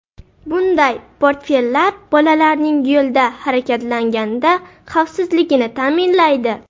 Bunday portfellar bolalarning yo‘lda harakatlanganida xavfsizligini ta’minlaydi.